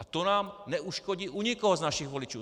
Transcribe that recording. A to nám neuškodí u nikoho z našich voličů.